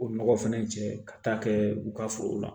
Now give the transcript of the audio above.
O nɔgɔ fɛnɛ jɛ ka taa kɛ u ka foro la